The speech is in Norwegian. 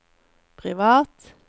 privat